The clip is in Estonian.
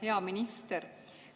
Hea minister!